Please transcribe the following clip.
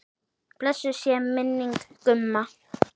Blessuð sé minning Gumma.